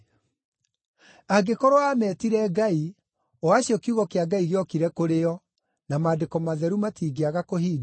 Angĩkorwo aametire ‘ngai’, o acio kiugo kĩa Ngai gĩokire kũrĩ o, (na Maandĩko matheru matingĩaga kũhingio)